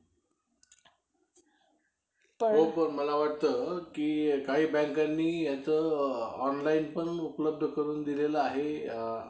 हा कधी कधी काय झालं, पहिली ते पाचवीपर्यंत घरी जाऊ देत होते.